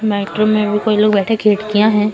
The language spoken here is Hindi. मेट्रो में भी कोई लोग बैठे खिड़कियां हैं।